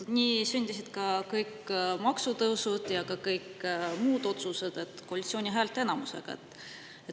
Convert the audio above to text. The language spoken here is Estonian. Nii sündisid kõik maksutõusud ja paljud muud otsused koalitsiooni häälteenamusega.